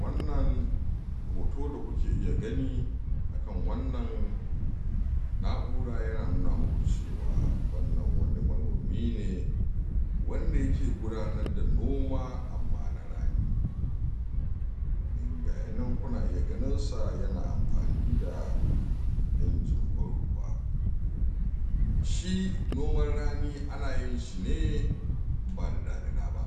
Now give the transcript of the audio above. Wannan hoto da kuke iya gani akan wannan na'ura yana nuna maku cewa wannan manomi ne wanda yake gudanar da noma amma na rani gaya nan kuna iya ganinsa yana ampani da ijin ban ruwa shi noman rani ana yin shi ne ba da damina ba